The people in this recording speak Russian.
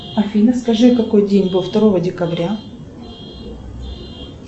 афина скажи какой день был второго декабря